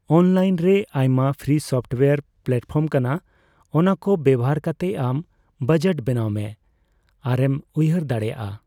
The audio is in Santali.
ᱚᱱᱞᱟᱭᱤᱱ ᱨᱮ ᱟᱭᱢᱟ ᱯᱷᱨᱤ ᱥᱟᱯᱴᱣᱮᱭᱚᱨ ᱯᱞᱟᱴᱯᱷᱟᱨᱢ ᱠᱟᱱᱟ, ᱚᱱᱟᱠᱚ ᱵᱮᱵᱚᱦᱟᱨ ᱠᱟᱛᱮ ᱟᱢ ᱵᱚᱡᱚᱴ ᱵᱮᱱᱟᱣ ᱢᱮ ᱟᱨᱮᱢ ᱩᱭᱦᱟᱹᱨ ᱫᱟᱲᱮᱭᱟᱜᱼᱟ ᱾